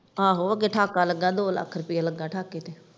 ਆਹੋ ਅੱਗੇ ਢਾਕਾ ਲੱਗਾ ਦੋ ਲੱਖ ਰੁਪਇਆ ਲੱਗਾ ਢਾਕੇ ਤੇ।